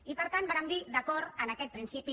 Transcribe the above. i per tant vàrem dir d’acord amb aquest principi